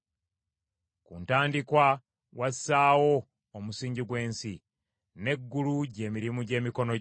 Ku ntandikwa wassaawo omusingi gw’ensi; n’eggulu gy’emirimu gy’emikono gyo.